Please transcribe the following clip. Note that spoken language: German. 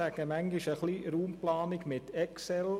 Ich sage manchmal, das sei ein bisschen Raumplanung mit Excel.